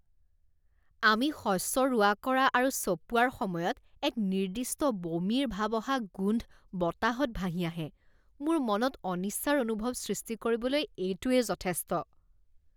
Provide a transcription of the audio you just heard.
আমি শস্য ৰোৱা কৰা আৰু চপোৱাৰ সময়ত এক নিৰ্দিষ্ট বমিৰ ভাব অহা গোন্ধ বতাহত ভাহি আহে, মোৰ মনত অনিচ্ছাৰ অনুভৱ সৃষ্টি কৰিবলৈ এইটোৱে যথেষ্ট।